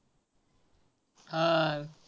हा.